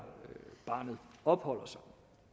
barnet opholder sig